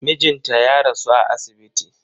Mijinta ya rasu a asibiti.